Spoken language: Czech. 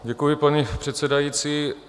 Děkuji, paní předsedající.